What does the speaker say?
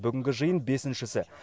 бүгінгі жиын бесіншісі